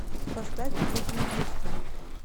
поставь уитни хьюстон